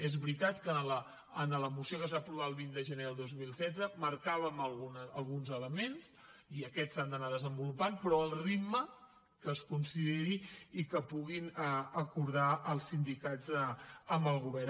és veritat que en la moció que es va aprovar el vint de gener de dos mil setze marcàvem alguns elements i aquests s’han d’anar desenvolupant però al ritme que es consideri i que puguin acordar els sindicats amb el govern